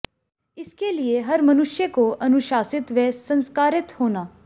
इसके लिए हर मनुष्य को अनुशासित व संस्कारित होना